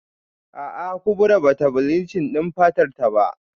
A'a Kubra bata bleaching din fatarta ba